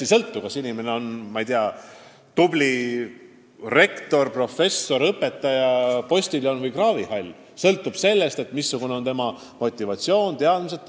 Aga sõltumata sellest, kas inimene on rektor, professor, õpetaja, postiljon või kraavihall – kõik sõltub sellest, missugune on tema töötahe, missugused on tema teadmised.